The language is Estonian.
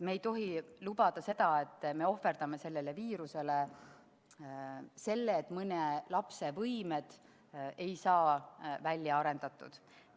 Me ei tohi lubada seda, et ohverdame viirusele selle, et mõne lapse võimed ei saa välja arendatud.